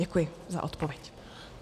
Děkuji za odpověď.